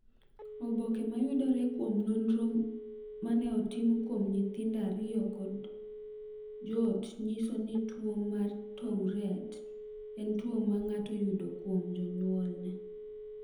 "Oboke ma yudore kuom nonro ma ne otim kuom nyithindo ariyo kod joot nyiso ni tuwo mar Tourette en tuwo ma ng’ato yudo kuom jonyuolne."